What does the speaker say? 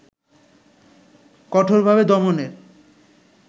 কঠোরভাবে দমনের